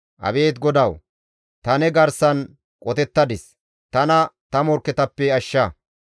Abeet GODAWU! Ta ne garsan qotettadis; tana ta morkketappe ashsha.